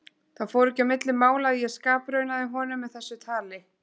Það fór ekki á milli mála að ég skapraunaði honum með þessu tali.